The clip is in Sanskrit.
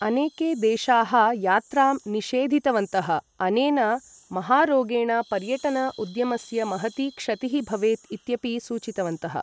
अनेके देशाः यात्रां निषेधितवन्तः, अनेन महारोगेण पर्यटन उद्यमस्य महती क्षतिः भवेत् इत्यपि सूचितवन्तः।